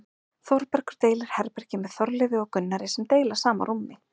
Þórbergur deilir herbergi með Þorleifi og Gunnari sem deila sama rúmi.